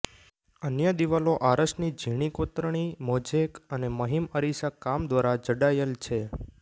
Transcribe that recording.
અન્ય દિવાલો આરસની ઝીણી કોતરણી મોઝેક અને મહીમ અરિસા કામ દ્વારા જડાયેલ છે